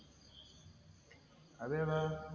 അതേതാ,